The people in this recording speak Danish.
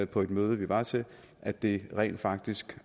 på et møde vi var til at det rent faktisk